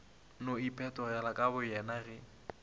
no iphetogela ka boyona ge